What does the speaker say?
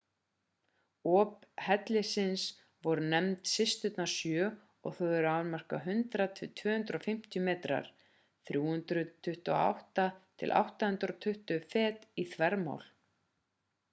op hellisins voru nefnd systurnar sjö og þau eru a.m.k. 100 til 250 metrar 328 til 820 fet í þvermál